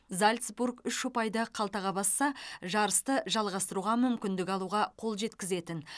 зальцбург үш ұпайды қалтаға басса жарысты жалғастыруға мүмкіндік алуға қол жеткізетін